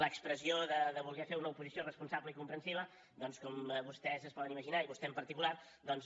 l’expressió de voler fer una oposició responsable i comprensiva com vostès es poden imaginar i vostè en particular doncs